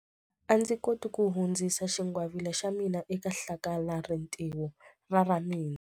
A ndzi koti ku hundzisa xingwavila xa mina eka hlakalarintiho ra ra mina.